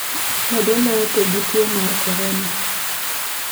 Jadolo otho gi tuwo mar Corona